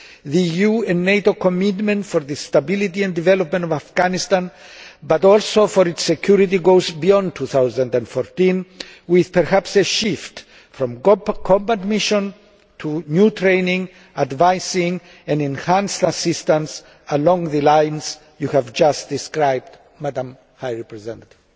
The EU and NATO commitment to the stability and development of Afghanistan, but also to its security, goes beyond 2014, with perhaps a shift from combat mission to new training, advising and enhanced assistance along the lines you have just described, Madam High Representative.